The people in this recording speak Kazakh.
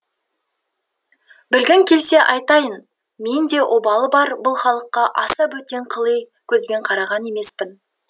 білгің келсе айтайын мен де обалы бар бұл халыққа аса бөтен қыли көзбен қараған емеспін